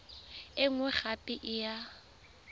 e nngwe gape e ya